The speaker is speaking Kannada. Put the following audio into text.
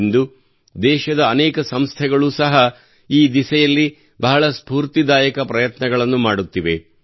ಇಂದು ದೇಶದ ಅನೇಕ ಸಂಸ್ಥೆಗಳು ಸಹ ಈ ದಿಸೆಯಲ್ಲಿ ಬಹಳ ಸ್ಪೂರ್ತಿದಾಯಕ ಪ್ರಯತ್ನಗಳನ್ನು ಮಾಡುತ್ತಿವೆ